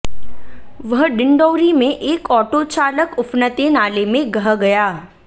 वहीं डिंडौरी में एक ऑटो चालक उफनते नाले में गह गया